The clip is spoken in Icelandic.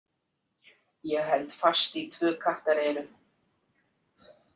Ég held fast í tvö kattareyru.